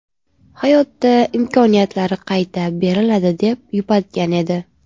Hayotda imkoniyatlar qayta beriladi”, deb yupatgan edi.